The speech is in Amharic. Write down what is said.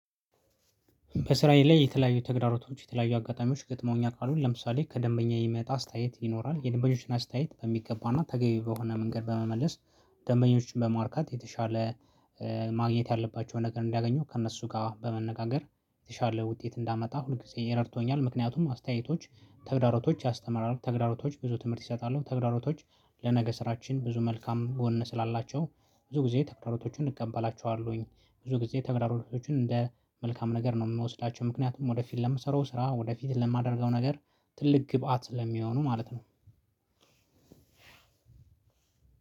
በስራዬ ላይ የተለያዩ ተግዳሮቶች የተለያዩ አጋጣሚዎች ገጥመውኝ ያቃሉ ለምሳሌ ከደንበኛ የሚመጣ አስተያየት ይኖራል የደንበኞችን አስተያየት በሚገባና ተገቢ በሆነ መንገድ በመመለስ። ደንበኞችን በማርካት የተሻለ ማግኘት ያለባቸውን ነገር እንዲያገኙ ከእነሱ ጋራ በመነጋገር የተሻለ ውጤት እንዳመጣ ሁልጊዜ ረድቶኛል። ምክንያቱም አስተያየቶች ተግዳሮቶች ያስተምራሉ ተግዳሮቶች ብዙ ትምህርት ይሰጣሉ ተግዳሮቶች ለነገ ስራችን ብዙ መልካም ጎን ስላላቸው። ብዙ ጊዜ ተግዳሮቶችን እቀበላቸዋለውኝ። ብዙ ጊዜ ተግዳሮቶችን እንደ መልካም ነገር ነው ምወስዳቸው። ምክንያቱም ወደፊት ለምሰራው ስራ ወደፊት ለማደርገው ነገር ትልቅ ግብአት ስለሚሆኑ ማለት ነው።